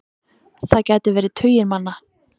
Það gæti verið tugir manna.